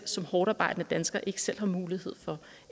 som hårdtarbejdende dansker ikke selv har mulighed for